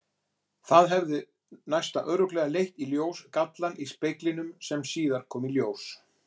Það hefði næsta örugglega leitt í ljós gallann í speglinum sem síðar kom í ljós.